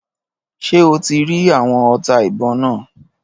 Ṣé o ti rí àwọn ọta ìbọn náà?